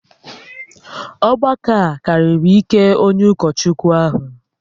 Ọgbakọ a karịrị ike onye ụkọchukwu ahụ